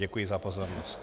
Děkuji za pozornost.